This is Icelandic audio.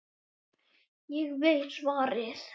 Ég veit svarið.